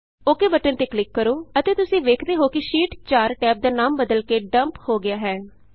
okay ok button ਤੇ click ਕਰੋ ਅਤੇ ਤੁਸੀਂ ਵੇਖੇਦੇ ਹੋ ਕਿ ਸ਼ੀਟ 4 ਟੈਬ ਦਾ ਨਾਮ ਬਦਲ ਕੇ ਡੱਮਪ ਡੰਪ ਹੋ ਗਿਆ ਹੈ